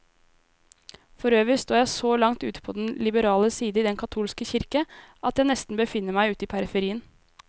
Forøvrig står jeg så langt ute på den liberale side i den katolske kirke, at jeg nesten befinner meg ute i periferien.